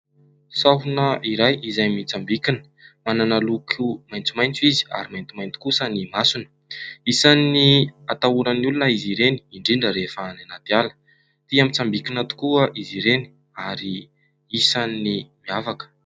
Sahona iray : izay mitsambikina, manana loko maitsomaitso izy ary maintimainty kosa ny masony. Isan'ny atahoran'ny olona izy ireny indrindra rehefa any anaty ala, tia mitsambikina tokoa izy ireny ary isan'ny miavaka.